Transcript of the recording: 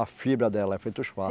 A fibra dela é feita os fardos.